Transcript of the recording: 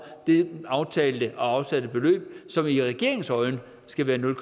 det aftalte og afsatte beløb som i regeringens øjne skal være nul